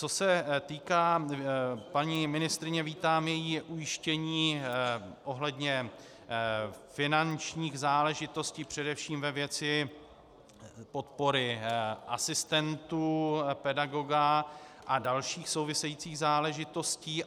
Co se týká paní ministryně, vítám její ujištění ohledně finančních záležitostí především ve věci podpory asistentů pedagoga a dalších souvisejících záležitostí.